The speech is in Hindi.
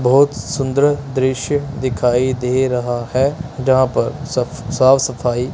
बोहोत सुंदर दृश्य दिखाई दे रहा हैं जहां पर सब साफ सफाई--